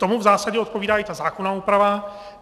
Tomu v zásadě odpovídá i ta zákonná úprava.